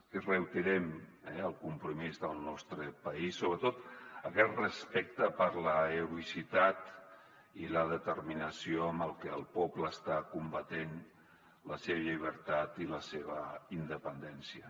i reiterem el compromís del nostre país sobretot aquest respecte per l’heroïcitat i la determina·ció amb les que el poble està combatent per la seva llibertat i la seva independència